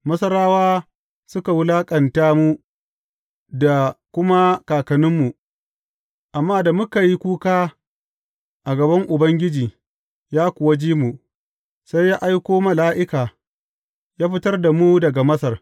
Masarawa suka wulaƙanta mu, da kuma kakanninmu, amma da muka yi kuka a gaban Ubangiji, ya kuwa ji mu, sai ya aiko mala’ika, ya fitar da mu daga Masar.